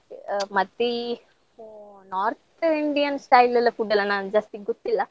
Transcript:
ಆ ಮತ್ತೆ ಈ North Indian style ಎಲ್ಲ food ಎಲ್ಲ ನಾನಗ್ ಜಾಸ್ತಿ ಗೊತ್ತಿಲ್ಲ.